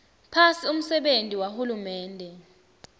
phasi umsebenti wahulumende